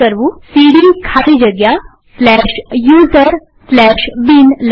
સીડી ખાલી જગ્યા userbin લખીએ